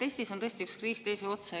Eestis on tõesti üks kriis teise otsa.